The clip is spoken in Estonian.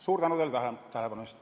Suur tänu teile tähelepanu eest!